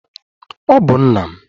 Ọ bụ nna m.